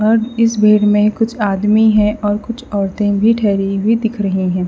और इस भीड़ में कुछ आदमी है और कुछ औरतें भी ठहरी हुई दिख रही है।